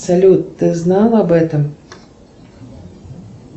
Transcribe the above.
салют ты знал об этом